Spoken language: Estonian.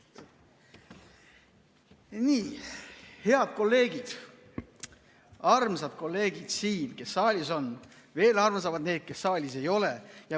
Nii, head kolleegid, armsad kolleegid, kes saalis on, ja veel armsamad need, kes saalis ei ole!